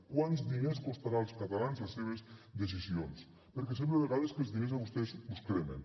quants diners costaran als catalans les seves decisions perquè sembla a vegades que els diners a vostès els cremen